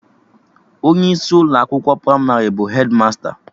Onye isi Ụlọ akwụkwọ pramarị bụ hedmasta